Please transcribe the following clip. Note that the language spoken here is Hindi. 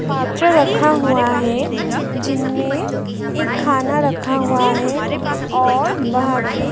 रखा हुआ है जिनमें एक खाना रखा हुआ है ओर वहां पे --